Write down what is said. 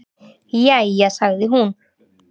"""Jæja, sagði hún."""